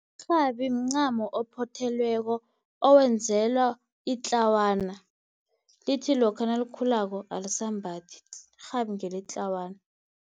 Irhabi mncamo ophothelweko owenzelwa itlawana lithi lokha nalikhulako alisalimbathi. Irhabi ngeletlawana.